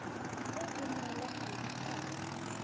e e neelwang modit haba